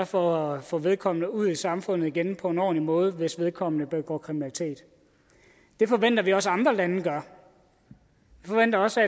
for at få vedkommende ud i samfundet igen på en ordentlig måde hvis vedkommende begår kriminalitet det forventer vi også andre lande gør vi forventer også